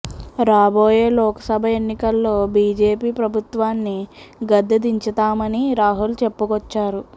రాబోయే లోక్సభ ఎన్నికల్లో బీజేపీ ప్రభుత్వాన్ని గద్దె దించుతామని రాహుల్ చెప్పుకొచ్చారు